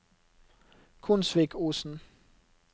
Konsvikosen